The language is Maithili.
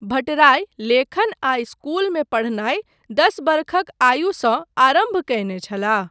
भट्टराई लेखन आ इस्कूल मे पढ़नाय दस वर्षक आयुसँ आरम्भ कयने छलाह।